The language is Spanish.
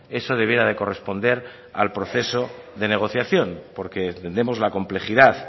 eso debiera de corresponder al proceso de negociación porque entendemos la complejidad